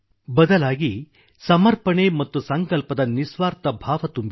ಬದಲಾಗಿ ಸಮರ್ಪಣೆ ಮತ್ತು ಸಂಕಲ್ಪದ ನಿಸ್ವಾರ್ಥ ಭಾವ ತುಂಬಿದೆ